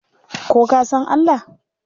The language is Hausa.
Ka ko san Allah?